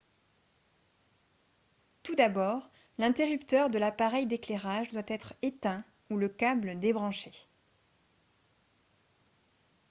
tout d'abord l'interrupteur de l'appareil d'éclairage doit être éteint ou le câble débranché